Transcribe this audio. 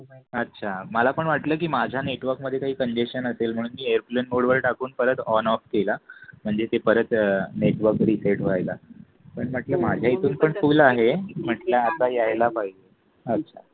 अच्छा मला पण वाटलं की माझ्या नेटवर्क मध्ये काही कन्जेशन असेल म्हणून मी एअरप्लेन मोडवर टाकून परत ऑन ऑफ केल म्हणजे ते परत नेटवर्क रिसेट व्हायला पण म्हटल माझ्या इथून फुल आहे म्हंटल्या आता यायला पाहिजे अच्छा.